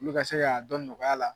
Olu ka se k'a dɔn nɔgɔya la